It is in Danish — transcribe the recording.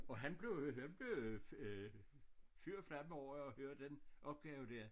Og han blev han blev øh øh fyr og flamme over at høre den opgave dér